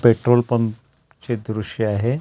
petrol pump चे दृश्य आहे ती--